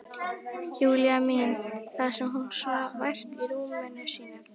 Júlíu mína þar sem hún svaf vært í rúminu sínu.